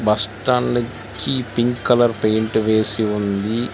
Bus stand కి pink colour paint వేసి ఉంది.